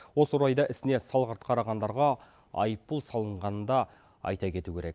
осы орайда ісіне салғырт қарағандарға айыппұл салынғанын да айта кету керек